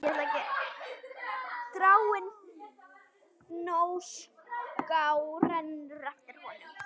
Dragáin Fnjóská rennur eftir honum.